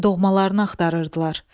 doğmalarını axtarırdılar.